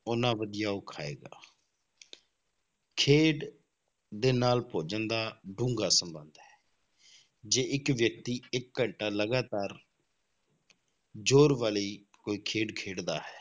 ਓਨਾ ਵਧੀਆ ਉਹ ਖਾਏਗਾ ਖੇਡ ਦੇ ਨਾਲ ਭੋਜਨ ਦਾ ਡੂੰਘਾ ਸੰਬੰਧ ਹੈ ਜੇ ਇੱਕ ਵਿਅਕਤੀ ਇੱਕ ਘੰਟਾ ਲਗਾਤਾਰ ਜ਼ੋਰ ਵਾਲੀ ਕੋਈ ਖੇਡ ਖੇਡਦਾ ਹੈ,